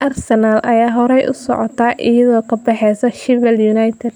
Arsenal ayaa horay u socota iyadoo ka baxaysa Sheffield United.